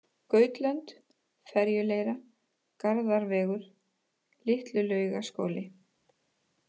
Gautlönd, Ferjuleira, Garðarsvegur, Litlulaugaskóli